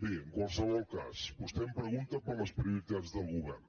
bé en qualsevol cas vostè em pregunta per les prioritats del govern